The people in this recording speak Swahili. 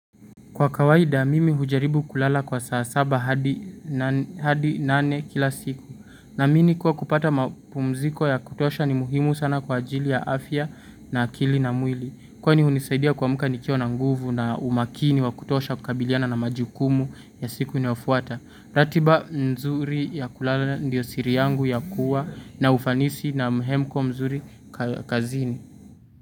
Kwa kawaida mimi hujaribu kulala kwa saa saba hadi nane kila siku. Naamini kuwa kupata mapumziko ya kutosha ni muhimu sana kwa ajili ya afya na akili na mwili. Kwani hunisaidia kuamka nikiwa na nguvu na umakini wa kutosha kukabiliana na majukumu ya siku inaofuata. Ratiba mzuri ya kulala ndiyo siri yangu ya kuwa na ufanisi na mhemko mzuri kazini.